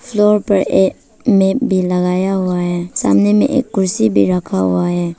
Floor पर एक माप भी लगाया हुआ है सामने में एक कुर्सी भी रखा हुआ है।